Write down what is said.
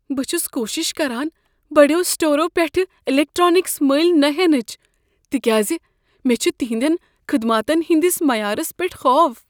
بہٕ چھس کوٗشش کران بڑیو سٹور پیٹھٕ الیکٹرانکس ملۍ نہ ہینچ تکیاز مےٚ چھ تہنٛدؠن خدماتن ہٕنٛدس معیارس پیٹھ خوف۔